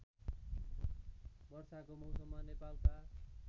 वर्षाको मौसममा नेपालका